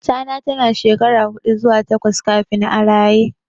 Tana tana shekara huɗu zuwa takwas kafin a raye.